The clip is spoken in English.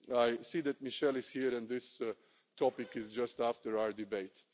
I see that Michel is here and this topic is just after our debate.